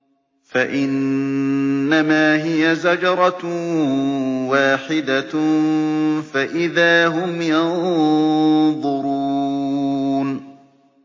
فَإِنَّمَا هِيَ زَجْرَةٌ وَاحِدَةٌ فَإِذَا هُمْ يَنظُرُونَ